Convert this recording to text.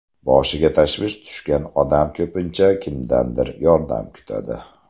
Boshiga tashvish tushgan odam ko‘pincha kimdandir yordam kutadi.